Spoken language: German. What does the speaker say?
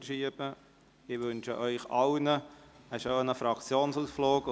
Ich wünsche Ihnen allen einen schönen Fraktionsausflug.